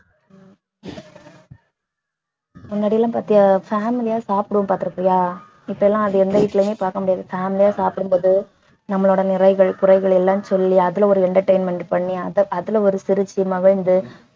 முன்னாடி எல்லாம் பாத்தியா family ஆ சாப்பிடுவோம் பாத்திருப்பியா இப்ப எல்லாம் அதை எந்த வீட்லயுமே பார்க்க முடியாது family ஆ சாப்பிடும்போது நம்மளோட நிறைகள் குறைகள் எல்லாம் சொல்லி அதுல ஒரு entertainment பண்ணி அதுல ஒரு சிரிச்சு மகிழ்ந்து